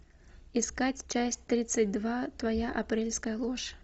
искать часть тридцать два твоя апрельская ложь